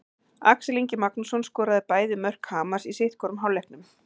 Axel Ingi Magnússon skoraði bæði mörk Hamars í sitthvorum hálfleiknum.